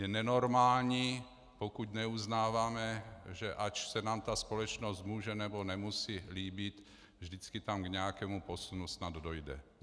Je nenormální, pokud neuznáváme, že ač se nám ta společnost může nebo nemusí líbit, vždycky tam k nějakému posunu snad dojde.